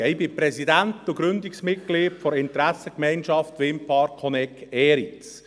Ich bin Präsident und Gründungsmitglied der Interessengemeinschaft (IG) Windpark Honegg-Eriz.